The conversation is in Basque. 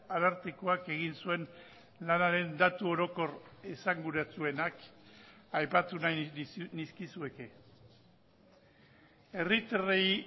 arartekoak egin zuen lanaren datu orokor esanguratsuenak aipatu nahi nizkizueke herritarrei